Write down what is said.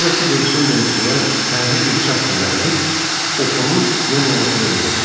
Sonra Kiber su ilə işləyən pərli bir çax düzəldib, oxunu dinamo maşına birləşdirdi.